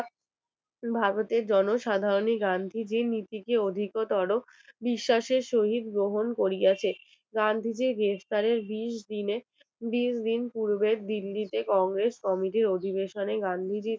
বিশ্বাসের সহিত গ্রহণ করিয়াছে গান্ধীজীর গ্রেপ্তারের বিশ দিনে তিরিশ দিন পূর্বে দিল্লিতে congress committee এর অধিবেশনে গান্ধীজি